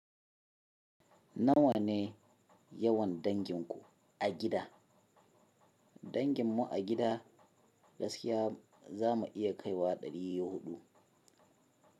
Nawa ne yawan danginku a gida? Dangin mu a gida gaskiya za mu iya kai wa dari hudu.